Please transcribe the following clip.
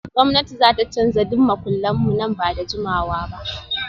Gwamnati za ta canza duk makullan mu nan ba da jimawa ba